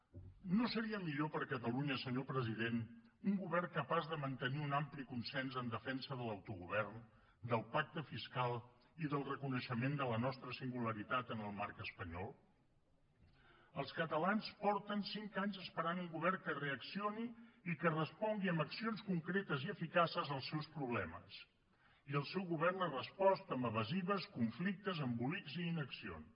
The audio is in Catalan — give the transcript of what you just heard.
no seria millor per a catalunya senyor president un govern capaç de mantenir un ampli consens en defensa de l’autogovern del pacte fiscal i del reconeixement de la nostra singularitat en el marc espanyol els catalans fa cinc anys que esperen un govern que reaccioni i que respongui amb accions concretes i eficaces als seus problemes i el seu govern hi ha respost amb evasives conflictes embolics i inaccions